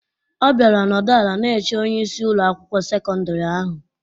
Ọ bịara nọdụ ala na-eche onyeisi Ụlọ akwụkwọ sekọndrị ahụ.